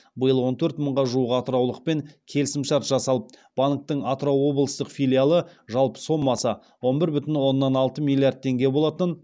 биыл он төрт мыңға жуық атыраулықпен келісімшарт жасалып банктің атырау облыстық филиалы жалпы соммасы он бір бүтін оннан алты миллиард теңге болатын